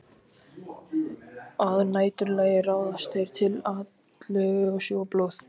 Að næturlagi ráðast þeir til atlögu og sjúga blóð.